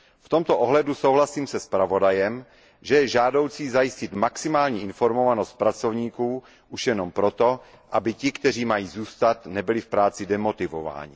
V tomto ohledu souhlasím se zpravodajem, že je žádoucí zajistit maximální informovanost pracovníků, už jenom proto, aby ti, kteří mají zůstat, nebyli v práci demotivováni.